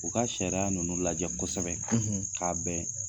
U ka sariya ninnu lajɛ kosɛbɛ k'a bɛn